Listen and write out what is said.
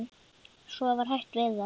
Svo var hætt við það.